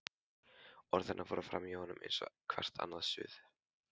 Orð hennar fóru framhjá honum eins og hvert annað suð.